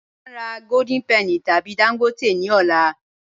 Ṣe a n rà Golden Penny tabi Dangote ni ọ̀lá?